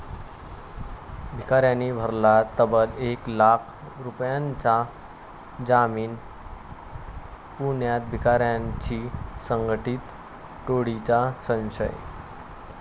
भिकाऱ्यांनी भरला तब्बल एक लाख रुपयांचा जामीन, पुण्यात भिकाऱ्यांची संघटीत टोळीचा संशय